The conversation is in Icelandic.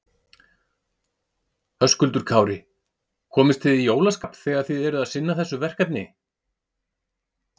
Höskuldur Kári: Komist þið í jólaskap þegar þið eruð að sinna þessu verkefni?